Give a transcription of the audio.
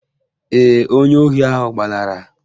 Ee, onye ohi ahụ gbalara